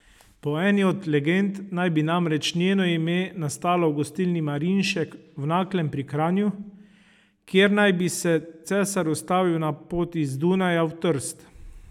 Po eni od legend naj bi namreč njeno ime nastalo v gostilni Marinšek v Naklem pri Kranju, kjer naj bi se cesar ustavil na poti z Dunaja v Trst.